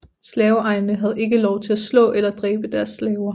Slaveejerne havde ikke lov til at slå eller dræbe deres slaver